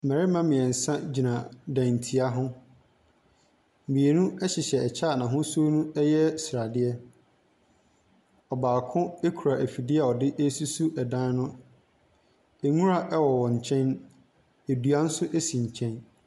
Mmarima mmeɛnsa gyina dantia ho. Mmienu hyehyɛ kyɛ a n'ahosuo no yɛ sradeɛ. Ɔbaako kura afidie a ɔde resusu dan no. nwura wɔ wɔn nkyɛn. Dua nso si nkyɛn.